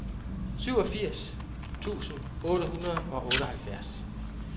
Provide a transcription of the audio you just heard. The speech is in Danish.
syvogfirs tusind otte hundrede og otteoghalvfjerds